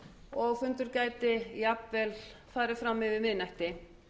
og fundur gæti jafnvel farið fram yfir miðnætti